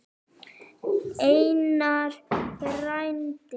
Einar frændi.